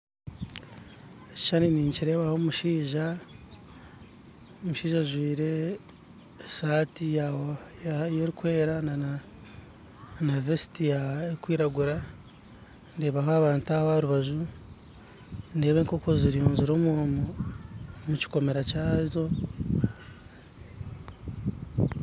Ekishushani ninkireebaho omushaija ajwaire esaati erikwera nana vesti erikwiragura ndeebaho abantu aharubaju ndeeba enkoko zirunzire omukikomera kyazo